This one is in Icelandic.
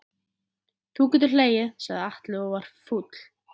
Þú getur hlegið, sagði Alli og var fúll.